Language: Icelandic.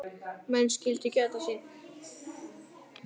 Menn skyldu gæta sín.